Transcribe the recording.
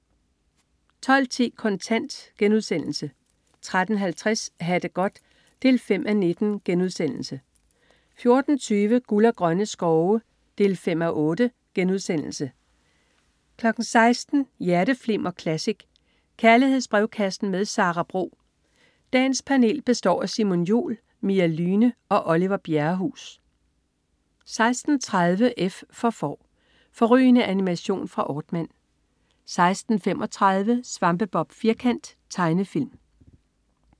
12.10 Kontant* 13.50 Ha' det godt 5:19* 14.20 Guld og grønne skove 5:8* 16.00 Hjerteflimmer Classic. Kærlighedsbrevkassen med Sara Bro. Dagens panel består af Simon Jul, Mia Lyhne og Oliver Bjerrehuus 16.30 F for Får. Fårrygende animation fra Aardman 16.35 Svampebob Firkant. Tegnefilm